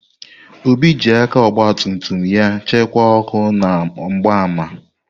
Obi ji aka ọgba tum tum ya chịkwaa ọkụ na mgbaama.